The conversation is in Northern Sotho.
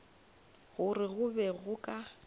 gore go be go ka